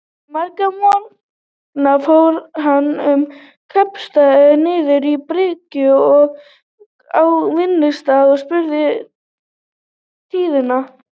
Marga morgna fór hann um kaupstaðinn, niður á bryggju og á vinnustaði, og spurði tíðinda.